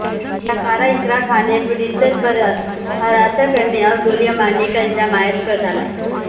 اداکارہ اقرا خان نے پروڈیوسر پر ہراساں کرنے اور گولیاں مارنےکا الزام عائد کر ڈالا